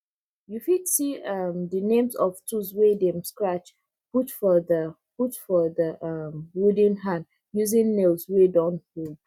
you fit see um the names of tools wey dem scratch put for the put for the um wooden hand using nails wey don old